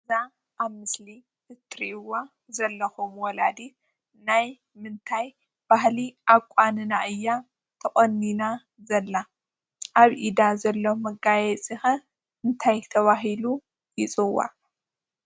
እዛ ኣብ ምስሊ እትሪእዋ ዘለኩም ወለዲት ናይ ምንታይ ባህሊ ኣቋንና እያ ተቖኒና ዘላ? ኣብ ኢዳ ዘሎ መጋየፂ ከ እንታይ ተባሂሉ ይፅዋዕ?